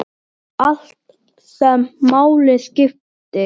Allt sem máli skipti.